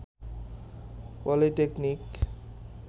polytechnic